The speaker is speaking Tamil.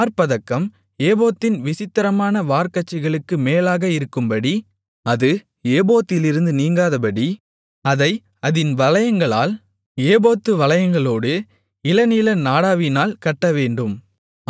மார்ப்பதக்கம் ஏபோத்தின் விசித்திரமான வார்க்கச்சைக்கு மேலாக இருக்கும்படி அது ஏபோத்திலிருந்து நீங்காதபடி அதை அதின் வளையங்களால் ஏபோத்து வளையங்களோடு இளநீல நாடாவினால் கட்டவேண்டும்